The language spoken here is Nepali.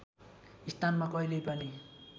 स्थानमा कहिल्यै पनि